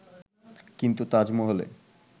কিন্তু তাজমহলে